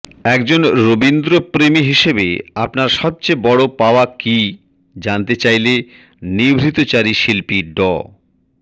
একজন রবীন্দ্রপ্রেমী হিসেবে আপনার সবচেয়ে বড় পাওয়া কী জানতে চাইলে নিভৃতচারী শিল্পী ড